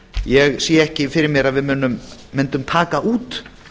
ég sé ekki fyrir mér að við mundum taka út